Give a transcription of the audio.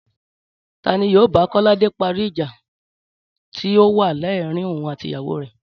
Ta ni yóò bá Kó̩ládé parí ìjà tí ó wà láàarín òun àti ìyàwó rè̩?